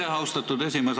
Aitäh, austatud esimees!